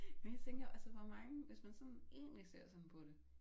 Men jeg tænker altså hvor mange hvis man sådan egentlig ser sådan på det